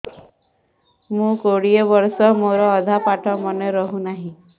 ମୋ କୋଡ଼ିଏ ବର୍ଷ ମୋର ଅଧା ପାଠ ମନେ ରହୁନାହିଁ